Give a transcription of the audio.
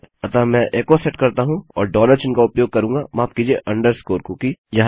अतः मैं echo set करता हूँ और डॉलर चिन्ह का उपयोग करूँगा माफ कीजिये अन्डर्स्कोर कुकी